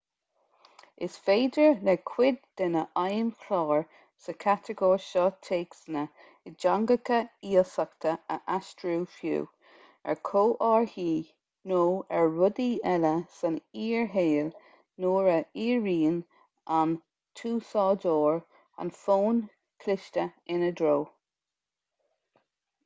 is féidir le cuid de na feidhmchláir sa chatagóir seo téacsanna i dteangacha iasachta a aistriú fiú ar chomharthaí nó ar rudaí eile san fhíor-shaol nuair a dhíríonn an t-úsáideoir an fón cliste ina dtreo